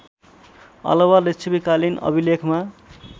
अलावा लिच्छवीकालीन अभिलेखमा